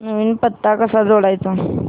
नवीन पत्ता कसा जोडायचा